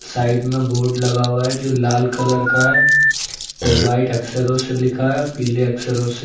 side में board लगा हुआ है जो लाल कलर का है व्हाइट अक्षरों से लिखा है पीले अक्षरों से --